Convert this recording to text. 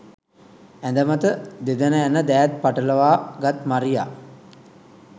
ඇඳමත දෙදණ ඇන දෑත් පටලවා ගත් මරියා